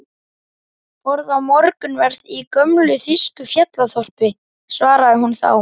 Borða morgunverð í gömlu þýsku fjallaþorpi, svaraði hún þá.